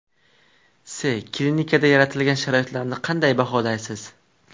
S: Klinikada yaratilgan sharoitlarni qanday baholaysiz?